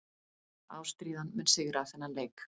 Ástríðan mun sigra þennan leik.